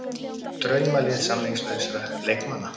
Draumalið samningslausra leikmanna